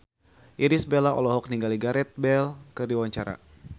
Irish Bella olohok ningali Gareth Bale keur diwawancara